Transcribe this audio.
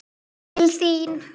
Til þín.